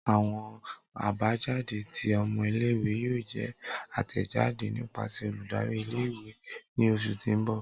Awọn abajade ti ọmọ ìle-ìwe yoo jẹ atẹjade nipasẹ oludari ìle-ìwe ni oṣu ti n bọ.